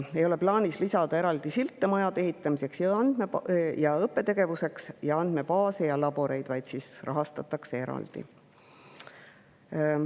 Ei ole plaanis lisada eraldi sildiga majade ehitamiseks ja õppetegevuseks, ainult andmebaase ja laboreid rahastatakse eraldi.